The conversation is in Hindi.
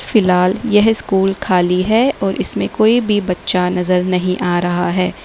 फिलहाल यह स्कूल खाली है और इसमें कोई भी बच्चा नजर नहीं आ रहा है।